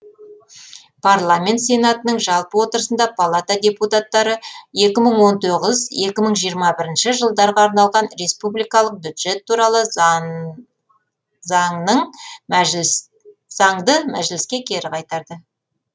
парламент сенатының жалпы отырысында палата депутаттары екі мың он тоғыз екі мың жиырма бірінші жылдарға арналған республикалық бюджет туралы заңды мәжіліске кері қайтарды